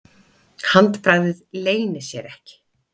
Handbragðið leynir sér ekki.